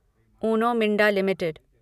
Uno Minda limited